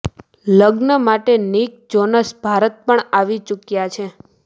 લગ્ન માટે Nick Jonas Bharat પણ આવી ચૂક્યા છે